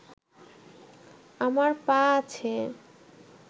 আমার পা আছে